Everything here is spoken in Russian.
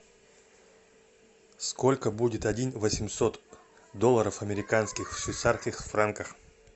сколько будет один восемьсот долларов американских в швейцарских франках